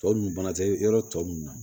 Tɔ ninnu bana tɛ yɔrɔ tɔ mun na